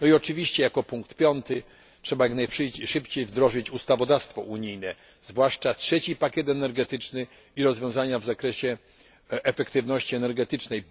No i oczywiście, jako punkt piąty, trzeba jak najszybciej wdrożyć unijne ustawodawstwo, zwłaszcza trzeci pakiet energetyczny i rozwiązania w zakresie efektywności energetycznej.